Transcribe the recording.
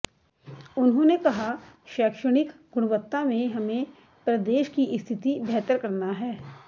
उन्होंने कहा शैक्षणिक गुणवत्ता में हमें प्रदेश की स्थिति बेहतर करना है